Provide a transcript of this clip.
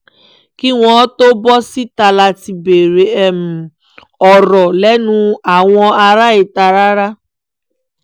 kí wọ́n tóó bọ́ síta láti béèrè ọ̀rọ̀ lẹ́nu àwọn ará ìta rárá